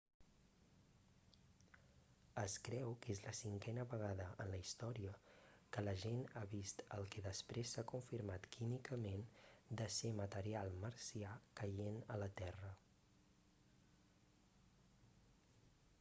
es creu que és la cinquena vegada en la història que la gent ha vist el que després s'ha confirmat químicament de ser material marcià caient a la terra